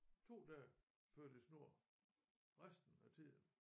2 dage ført i snor resten af tiden